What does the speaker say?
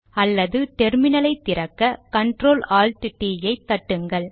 அல்லது டெர்மினலை திறக்க கண்ட்ரோல் ஆல்ட் டிt ஐ தட்டுங்கள்